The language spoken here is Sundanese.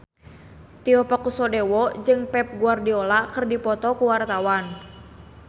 Tio Pakusadewo jeung Pep Guardiola keur dipoto ku wartawan